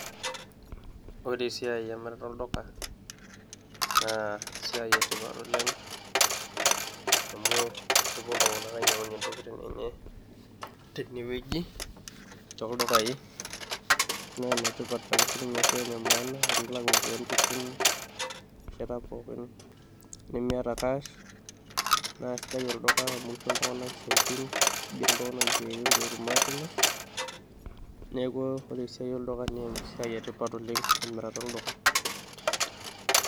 ore esiai emirata olduka naa esiai etipat oleng amu kepuo iltung'anak ainyiang'unyie intokitin enye tenewueji toldukai naa enetipat ake sininye ashu ene maana tenilak iropiyiani tesimu erishata pookin nemiata cash naa sidai olduka amu kisho iltung'anak isiaitin kigeri isiaitin peetum atimirr neeku ore esiai olduka naa esiai etipat oleng emirata olduka.